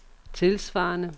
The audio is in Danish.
tilsvarende